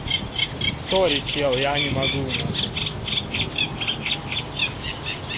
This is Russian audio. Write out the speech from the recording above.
сорри человек я не могу нахуй